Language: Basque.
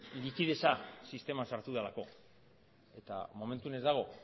likidetza sisteman sartu delako eta momentuz ez dago